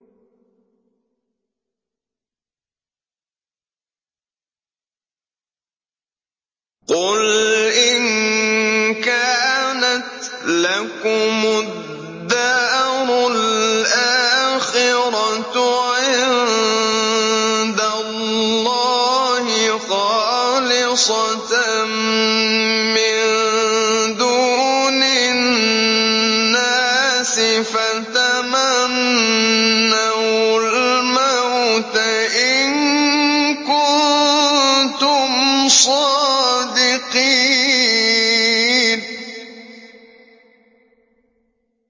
قُلْ إِن كَانَتْ لَكُمُ الدَّارُ الْآخِرَةُ عِندَ اللَّهِ خَالِصَةً مِّن دُونِ النَّاسِ فَتَمَنَّوُا الْمَوْتَ إِن كُنتُمْ صَادِقِينَ